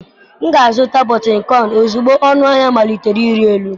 M ga-azụta bitkoịn ozugbo ọnụahịa malitere ịrị elu.